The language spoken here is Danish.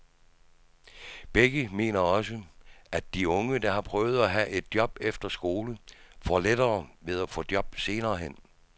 Begge mener også, at de unge, der har prøvet at have et job efter skole, får lettere ved at få et job senere hen.